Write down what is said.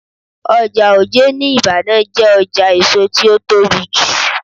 Ọjà Oje ní Ibadan jẹ́ ọjà èso tí ó tóbi jù.